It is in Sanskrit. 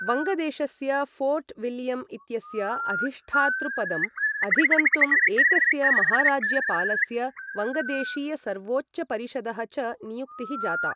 वङ्गदेशस्य फोर्ट् विल्यम् इत्यस्य अधिष्ठातृपदम् अधिगन्तुम् एकस्य महाराज्यपालस्य वङ्गदेशीयसर्वोच्चपरिषदः च नियुक्तिः जाता।